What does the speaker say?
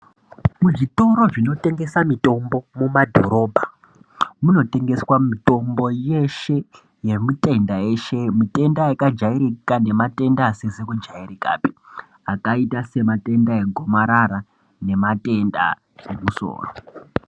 Muzvitoro zvotengesa mitombo mumadhorobha munotengeswa mitombo yeshe yematenda eshe matenda akajairika nematenda asizi kujairika pi akaita nematenda egomarara nematenda emusoro.